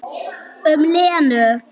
Um Lenu?